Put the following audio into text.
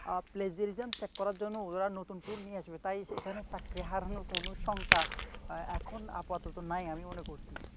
আহ palgrisim check করার জন্য ওরা নতুন tool নিয়ে আসবে, তাই এখানে চাকরি হারানোর কোন শঙ্কা এখন আপাতত নাই বলে মনে করছি.